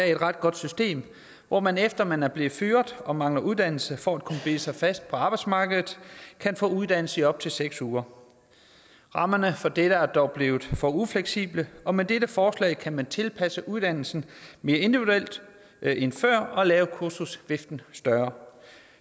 et ret godt system hvor man efter man er blevet fyret og mangler uddannelse for at kunne bide sig fast på arbejdsmarkedet kan få uddannelse i op til seks uger rammerne for dette er dog blevet for ufleksible og med dette forslag kan man tilpasse uddannelsen mere individuelt end før og lave kursusviften større